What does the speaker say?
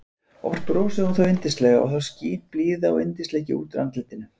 Oft brosir hún þó yndislega og skín þá blíða og yndisleiki út úr andlitinu.